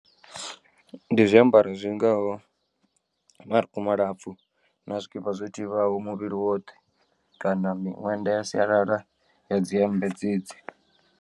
Ndi zwiambaro zwingaho marukhu malapfu na zwikipa zwo thivhaho muvhili woṱhe kana miṅwenda ya sialala ya dzi hemmbe dzedzi.